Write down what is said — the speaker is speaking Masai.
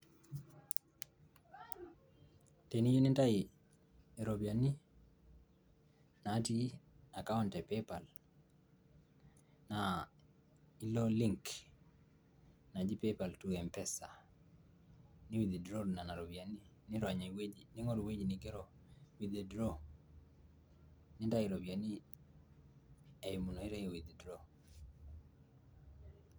teniyieu nintayu, iropiyiani, naatii account e paypal, naa ilo link naji paypal to mpesa, ni withdraw nena ropiyiani nirony ewueji, ningoru ewueji nigero withdraw nintayu iropiyiani